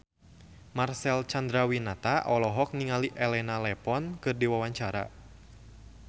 Marcel Chandrawinata olohok ningali Elena Levon keur diwawancara